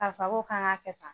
Karisa ko k'an ka kɛ tan